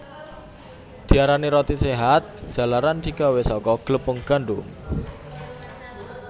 Diarani roti séhat jalaran digawé saka glepung gandum